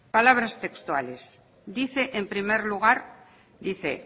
palabras textuales dice